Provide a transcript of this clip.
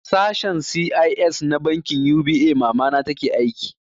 A sashen C.I.S na bankin U.B.A mamana take aiki